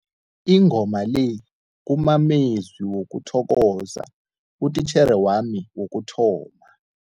Ingoma le kumamezwi wokuthokoza utitjhere wami wokuthoma.